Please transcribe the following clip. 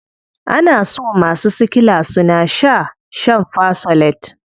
Ana so masu sickla suna shaa shan fersolate.